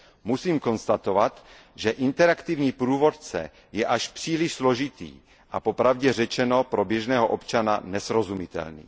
Musím konstatovat, že interaktivní průvodce je až příliš složitý a po pravdě řečeno pro běžného občana nesrozumitelný.